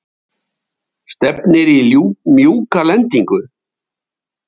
Henný, stefnir í mjúka lendingu?